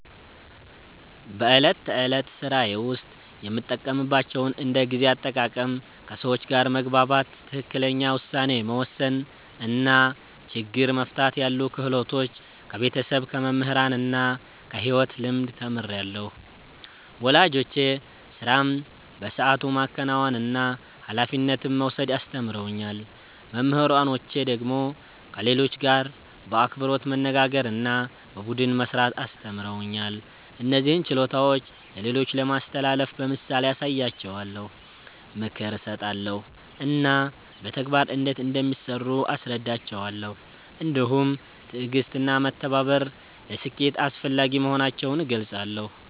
በዕለት ተዕለት ሥራዬ ውስጥ የምጠቀምባቸውን እንደ ጊዜ አጠቃቀም፣ ከሰዎች ጋር መግባባት፣ ትክክለኛ ውሳኔ መወሰን እና ችግር መፍታት ያሉ ክህሎቶች ከቤተሰብ፣ ከመምህራን እና ከሕይወት ልምድ ተምሬአለሁ። ወላጆቼ ሥራን በሰዓቱ ማከናወንና ኃላፊነት መውሰድ አስተምረውኛል። መምህራኖቼ ደግሞ ከሌሎች ጋር በአክብሮት መነጋገርና በቡድን መሥራት አስተምረውኛል። እነዚህን ችሎታዎች ለሌሎች ለማስተላለፍ በምሳሌ አሳያቸዋለሁ፣ ምክር እሰጣለሁ እና በተግባር እንዴት እንደሚሠሩ አስረዳቸዋለሁ። እንዲሁም ትዕግሥትና መተባበር ለስኬት አስፈላጊ መሆናቸውን እገልጻለሁ።